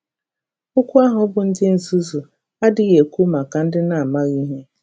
Okwu ahụ bụ́ “ ndị nzuzu ” adịghị ekwu maka ndị na - amaghị ihe.